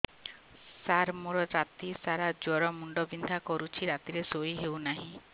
ସାର ମୋର ରାତି ସାରା ଜ୍ଵର ମୁଣ୍ଡ ବିନ୍ଧା କରୁଛି ରାତିରେ ଶୋଇ ହେଉ ନାହିଁ